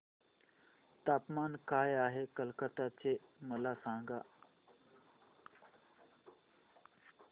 तापमान काय आहे कलकत्ता चे मला सांगा